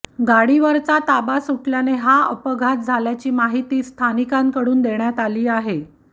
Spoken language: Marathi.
गाडीवरचा ताबा सुटल्याने हा अपघात झाल्याची माहिती स्थानिकांकडून देण्यात आली आहे